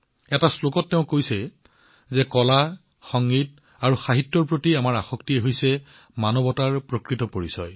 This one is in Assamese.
এটা পদত তেওঁ কয় যে কলা সংগীত আৰু সাহিত্যৰ প্ৰতি ব্যক্তিৰ আসক্তি হৈছে মানৱতাৰ প্ৰকৃত পৰিচয়